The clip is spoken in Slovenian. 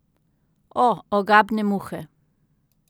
O, ogabne muhe.